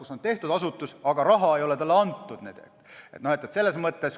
Seal on loodud asutus, aga raha ei ole talle piisavalt antud.